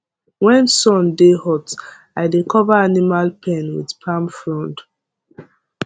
when sun dey hot i dey cover animal pen with palm frond